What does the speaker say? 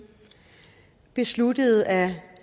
besluttede at